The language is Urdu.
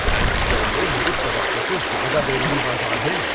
ایمسٹرڈیم میں میری توقع سے زیادہ بیرونی بازار ہیں۔